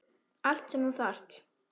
Allt sem þú þarft.